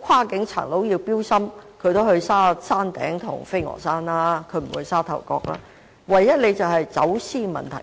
跨境匪徒會進行綁架，他們也會到山頂或飛鵝山，不會在沙頭角犯案，唯一的問題只是走私的問題。